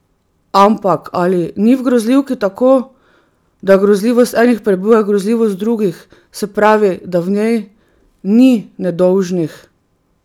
Ampak ali ni v grozljivki tako, da grozljivost enih prebuja grozljivost drugih, se pravi, da v njej ni nedolžnih?